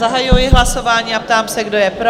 Zahajuji hlasování a ptám se, kdo je pro?